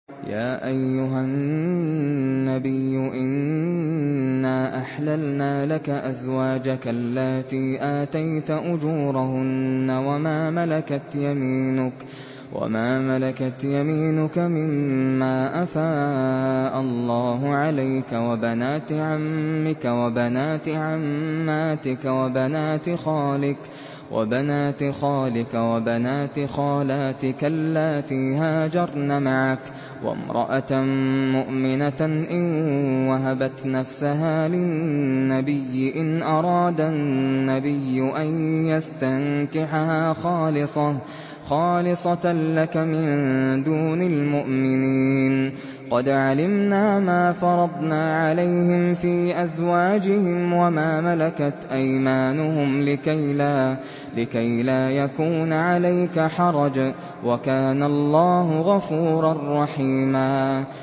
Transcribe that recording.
يَا أَيُّهَا النَّبِيُّ إِنَّا أَحْلَلْنَا لَكَ أَزْوَاجَكَ اللَّاتِي آتَيْتَ أُجُورَهُنَّ وَمَا مَلَكَتْ يَمِينُكَ مِمَّا أَفَاءَ اللَّهُ عَلَيْكَ وَبَنَاتِ عَمِّكَ وَبَنَاتِ عَمَّاتِكَ وَبَنَاتِ خَالِكَ وَبَنَاتِ خَالَاتِكَ اللَّاتِي هَاجَرْنَ مَعَكَ وَامْرَأَةً مُّؤْمِنَةً إِن وَهَبَتْ نَفْسَهَا لِلنَّبِيِّ إِنْ أَرَادَ النَّبِيُّ أَن يَسْتَنكِحَهَا خَالِصَةً لَّكَ مِن دُونِ الْمُؤْمِنِينَ ۗ قَدْ عَلِمْنَا مَا فَرَضْنَا عَلَيْهِمْ فِي أَزْوَاجِهِمْ وَمَا مَلَكَتْ أَيْمَانُهُمْ لِكَيْلَا يَكُونَ عَلَيْكَ حَرَجٌ ۗ وَكَانَ اللَّهُ غَفُورًا رَّحِيمًا